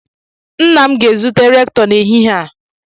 Nna m ga-ezute Rektọ n'ehihie a.